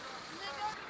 Bura niyə gəlir?